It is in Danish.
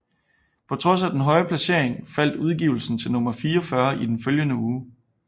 På trods af den høje placering faldt udgivelsen til nummer 44 i den følgende uge